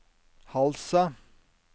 Halsa